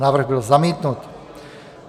Návrh byl zamítnut.